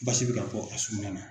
Basi bɛ ka bɔ a sugunɛ na.